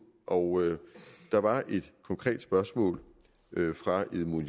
og der var et konkret spørgsmål fra edmund